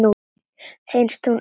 Finnst hún örugg.